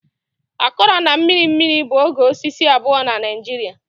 Akọrọ na mmiri mmiri bụ oge osisi abụọ na Naijiria.